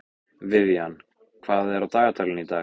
Vivian, hvað er á dagatalinu í dag?